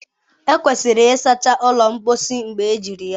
Ekwesịrị ịsacha ụlọ mposi mgbe ejiri ya.